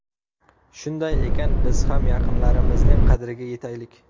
Shunday ekan, biz ham yaqinlarimizning qadriga yetaylik.